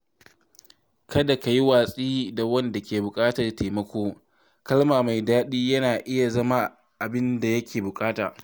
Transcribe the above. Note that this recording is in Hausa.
Kada ka yi watsi da wanda ke buƙatar taimako; kalma mai daɗi na iya zama abin da yake buƙata.